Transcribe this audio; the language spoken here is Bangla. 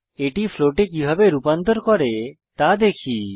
এটি ফ্লোটে কিভাবে রূপান্তর করে তা দেখি